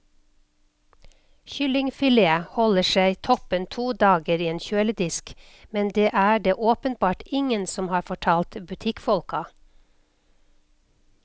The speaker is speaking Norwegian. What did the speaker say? Kyllingfilet holder seg toppen to dager i en kjøledisk, men det er det åpenbart ingen som har fortalt butikkfolka.